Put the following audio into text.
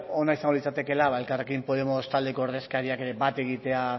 ona izango litzatekeela elkarrekin podemos taldeko ordezkariak ere bat egitea